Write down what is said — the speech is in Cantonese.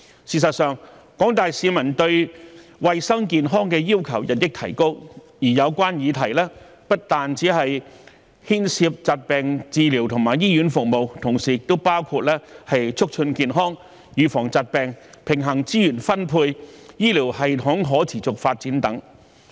事實上，廣大市民對衞生健康的要求日益提高，而有關議題不但牽涉疾病治療和醫院服務，同時亦包括促進健康、預防疾病、平衡資源分配及醫療系統可持續發展等。